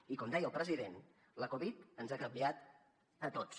i com deia el president la covid ens ha canviat a tots